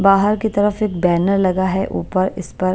बाहर की तरफ एक बैनर लगा है ऊपर इस पर।